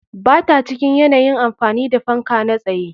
Ba ta cikin yanayin amfani da fanka na tsaye.